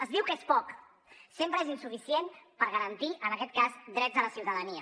es diu que és poc sempre és insuficient per garantir en aquest cas drets a la ciutadania